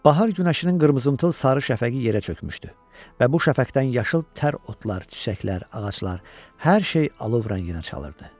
Bahar günəşinin qırmızımtıl, sarı şəfəqi yerə çökmüşdü və bu şəfəkdən yaşıl tər otlar, çiçəklər, ağaclar, hər şey alov rənginə çalırdı.